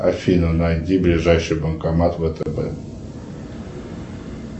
афина найди ближайший банкомат втб